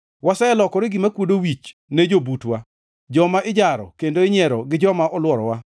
Waselokore gima kuodo wich ne jobutwa, joma ijaro kendo inyiero gi joma olworowa.